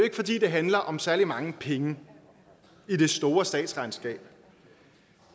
ikke fordi det handler om særlig mange penge i det store statsregnskab